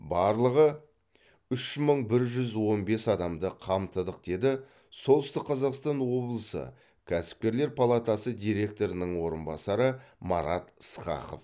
барлығы үш мың бір жүз он бес адамды қамтыдық деді солтүстік қазақстан облысы кәсіпкерлер палатасы директорының орынбасары марат ысқақов